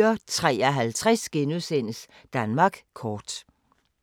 04:53: Danmark kort *